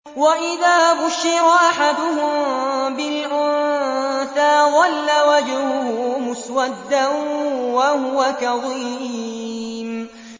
وَإِذَا بُشِّرَ أَحَدُهُم بِالْأُنثَىٰ ظَلَّ وَجْهُهُ مُسْوَدًّا وَهُوَ كَظِيمٌ